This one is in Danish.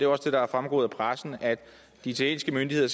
også det der er fremgået af pressen at de italienske myndigheder